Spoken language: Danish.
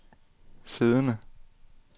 siddende